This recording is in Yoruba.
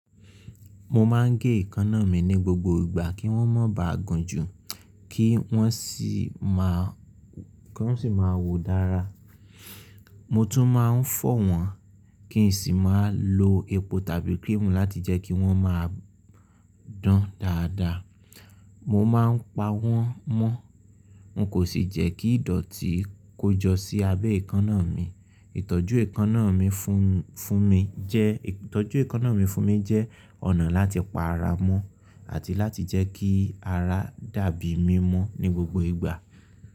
Mo máa ń gé èékánná mi ní gbogbo ìgbà kí wọ́n má bà á gùn jù kí wọ́n sì má wù dára. Mo tún máa ń fọ́ wọ́n kí n sì máa lo epo tàbí cream láti jẹ́ kí wọ́n máa dán dáadáa. Mo máa ń pa wọ́n mọ́, n kò sì jẹ́ kí ìdọ̀tí kó jọ sí abẹ́ èékánná mi. Ìtọ́jú èékánná mi fún mi jẹ́ ọ̀nà láti pa ara mọ́, àti láti jẹ́ kí ara dà bí mímọ́ ní gbogbo ìgbà.